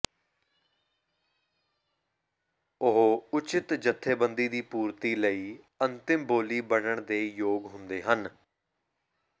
ਉਹ ਉਚਿਤ ਜਥੇਬੰਦੀ ਦੀ ਪੂਰਤੀ ਲਈ ਅੰਤਿਮ ਬੋਲੀ ਬਣਨ ਦੇ ਯੋਗ ਹੁੰਦੇ ਹਨ